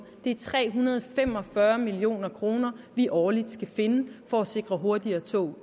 det er tre hundrede og fem og fyrre million kr vi årligt skal finde for at sikre hurtigere tog